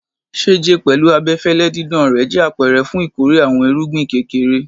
Ṣẹjẹ, pẹlu abẹfẹlẹ didan rẹ, jẹ apẹrẹ fun ikore awọn irugbin kekere